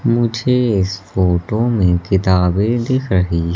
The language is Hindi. मुझे इस फोटो में किताबें दिख रही--